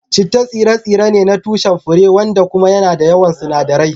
Chitta tsire-tsire ne na tushen fure wanda kuma yana da yawan sunadarai.